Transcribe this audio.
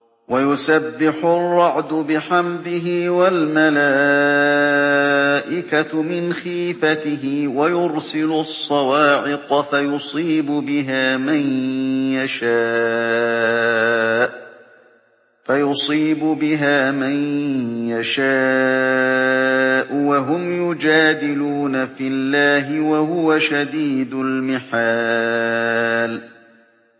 وَيُسَبِّحُ الرَّعْدُ بِحَمْدِهِ وَالْمَلَائِكَةُ مِنْ خِيفَتِهِ وَيُرْسِلُ الصَّوَاعِقَ فَيُصِيبُ بِهَا مَن يَشَاءُ وَهُمْ يُجَادِلُونَ فِي اللَّهِ وَهُوَ شَدِيدُ الْمِحَالِ